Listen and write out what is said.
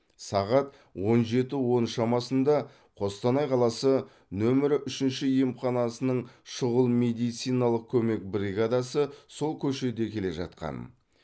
сағат он жеті он шамасында қостанай қаласы нөмірі үшінші емханасының шұғыл медициналық көмек бригадасы сол көшеде келе жатқан